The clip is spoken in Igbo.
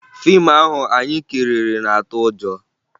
Fiimu ahụ anyị kiriri na-atụ ụjọ